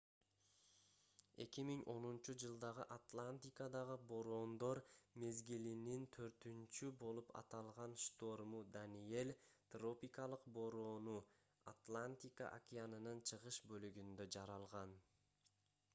2010-жылдагы атлантикадагы бороондор мезгилинин төртүнчү болуп аталган шторму даниэль тропикалык бороону атлантика океанынын чыгыш бөлүгүндө жаралган